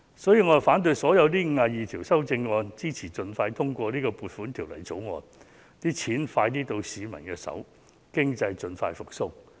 因此，我反對所有52項修正案，支持盡快通過《2020年撥款條例草案》，盡快把公帑交到市民手上，讓經濟盡快復蘇。